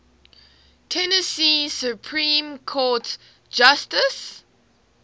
tennessee supreme court justices